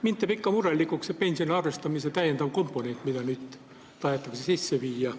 Mind teeb murelikuks see pensioni arvestamise täiendav komponent, mis nüüd tahetakse kasutusele võtta.